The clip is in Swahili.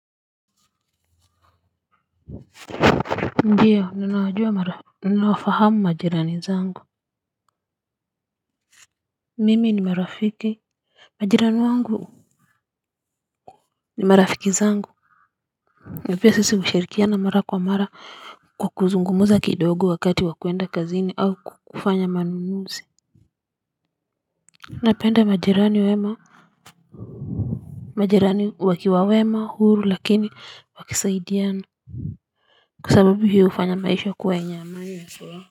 Ndiyo noinawajua mara ninawafahamu majirani zangu. Mimi ni marafiki, majirani wangu ni marafiki zangu na pia sisi hushirikiana mara kwa mara kwa kuzungumza kidogo wakati wa kwenda kazini au kufanya manunuzi. Napenda majirani wema. Majirani wakiwa wema huru lakini wakisaidiana. Kwasababu hiyo hufanya maisha kua yenye amani na furaha.